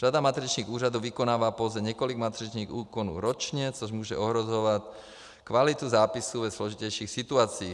Řada matričních úřadů vykonává pouze několik matričních úkonů ročně, což může ohrožovat kvalitu zápisu ve složitějších situacích.